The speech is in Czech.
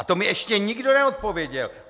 A to mi ještě nikdo neodpověděl!